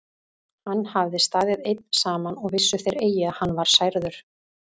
Hann hafði staðið einn saman og vissu þeir eigi að hann var særður.